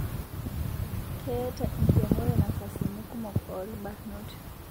Keeta enkiremore nafasini kumok orbanot